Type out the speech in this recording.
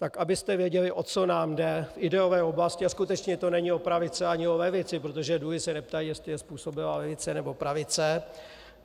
Tak abyste věděli, o co nám jde v ideové oblasti, a skutečně to není o pravici ani o levici, protože dluhy se neptají, jestli je způsobila levice, nebo pravice.